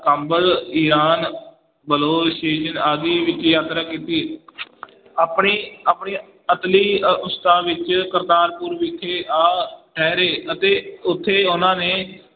ਕਾਬਲ, ਈਰਾਨ ਆਦਿ ਵਿੱਚ ਯਾਤਰਾ ਕੀਤੀ ਆਪਣੀ ਆਪਣੀ ਅੰਤਲੀ ਅਵਸਥਾ ਵਿੱਚ ਕਰਤਾਰਪੁਰ ਵਿਖੇ ਆ ਠਹਿਰੇ ਅਤੇ ਉੱਥੇ ਉਹਨਾਂ ਨੇ ਗਏ।